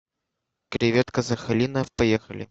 креветка сахалина поехали